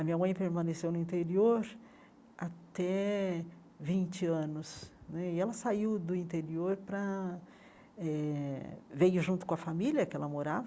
A minha mãe permaneceu no interior até vinte anos né, e ela saiu do interior para... eh... veio junto com a família que ela morava,